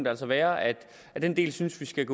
altså være at den del synes vi skal